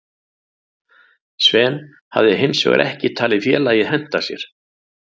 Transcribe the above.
Sven hafi hinsvegar ekki talið félagið henta sér.